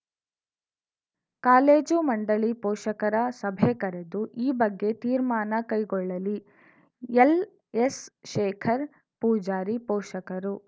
college ಮಂಡಳಿ ಪೋಷಕರ ಸಭೆ ಕರೆದು ಈ ಬಗ್ಗೆ ತೀರ್ಮಾನ ಕೈಗೊಳ್ಳಲಿ ಎಲ್‌ಎಸ್‌ಶೇಖರ್‌ ಪೂಜಾರಿ ಪೋಷಕರು